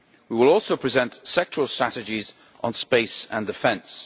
We will also present sectoral strategies on space and defence.